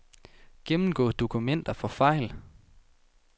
Gennemgå dokumenter for fejl.